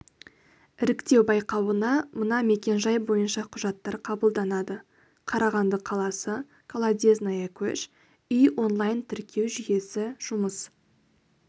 іріктеу байқауына мына мекен жай бойынша құжаттар қабылданады қарағанды қаласы колодезная көш үй онлайн тіркеу жүйесі жұмыс